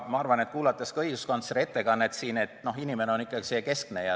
Aga ma arvan – olles kuulanud ka õiguskantsleri ettekannet –, et inimene on ikkagi keskne.